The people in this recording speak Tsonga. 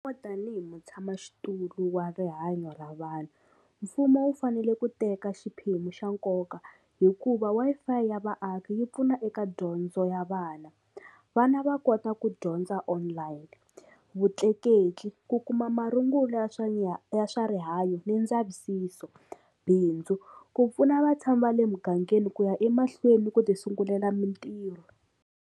Tanihi mutshamaxitulu wa rihanyo ra vanhu mfumo wu fanele ku teka xiphemu xa nkoka hikuva Wi-Fi ya vaaki yi pfuna eka dyondzo ya vana vana va kota ku dyondza online vutleketli ku kuma marungulo ya swa ya swa rihanyo ni ndzavisiso bindzu ku pfuna va tshama va le mugangeni ku ya emahlweni ku ti sungulela mintirho.